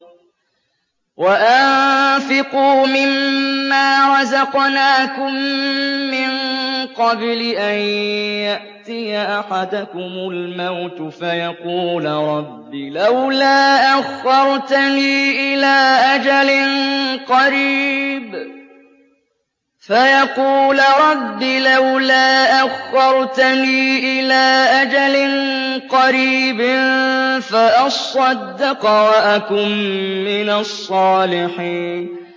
وَأَنفِقُوا مِن مَّا رَزَقْنَاكُم مِّن قَبْلِ أَن يَأْتِيَ أَحَدَكُمُ الْمَوْتُ فَيَقُولَ رَبِّ لَوْلَا أَخَّرْتَنِي إِلَىٰ أَجَلٍ قَرِيبٍ فَأَصَّدَّقَ وَأَكُن مِّنَ الصَّالِحِينَ